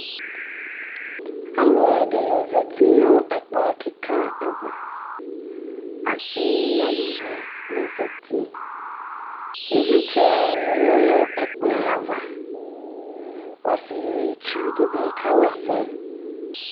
Alʋ ɛɖɩnɩ zati nʋ ɛƙplɔ ƙɩƙa avaAsɩ nʋ aluvi nɩ la zatiƖvlɩtsɛ nɩ lɛ nʋ ɛƙplɔɛavaƆsɩetsu ɖɩ bɩ ƙawa ɛsɛ